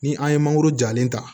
Ni an ye mangoro jalen ta